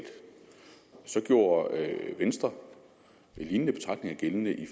så gjorde venstre en lignende betragtning gældende i